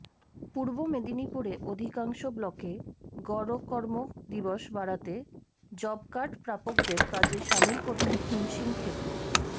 পূর্ব মেদিনীপুরে অধিকাংশ ব্লকে গড় কর্ম দিবস বাড়াতে জবকার্ড প্রাপকদের কাজে সামিল করতে হিমশিম খেতে